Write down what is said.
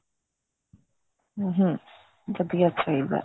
ਹਮ ਵਧੀਆ ਹੀ ਚਾਹੀਦਾ